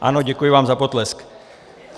Ano, děkuji vám za potlesk .